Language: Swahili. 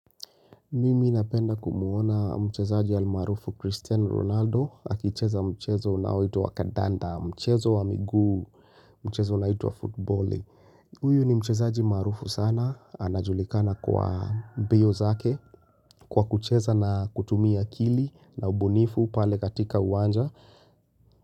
Mimi napenda kumuona mchezaji ya al maarufu Cristiano Ronaldo akicheza mchezo unaoitwa kandanda mchezo wa miguu mchezo unaoitwa football. Huyu ni mchezaji maarufu sana anajulikana kwa mbio zake kwa kucheza na kutumia akili na ubunifu pale katika uwanja.